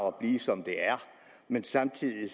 og blive som det er men samtidig